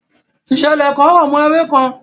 Ìṣẹ̀lẹ̀ kan rọ̀mọ́ òwe kan.